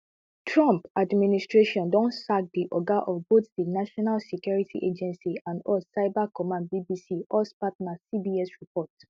trump administration don sack di oga of both di national security agency and us cyber command bbc us partner cbs report